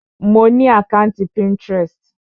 Mo ni àkàntí Pinterest.